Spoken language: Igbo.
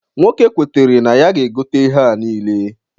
Nwoke kwetara na ya ga-egote ihea nile.